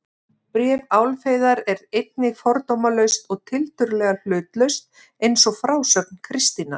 Bréf Álfheiðar er einnig fordómalaust og tiltölulega hlutlaust eins og frásögn Kristínar.